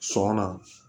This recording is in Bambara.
Sɔnna